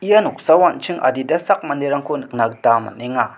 ia noksao an·ching adita sak manderangko nikna gita man·enga.